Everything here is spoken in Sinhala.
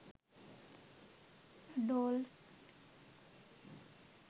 doll